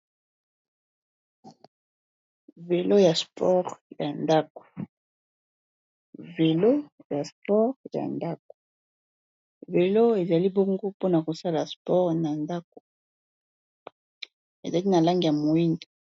Velo ya sport ya ndako, velo ezali bongo mpona kosala sport na ndako ezali na langi ya moyindo.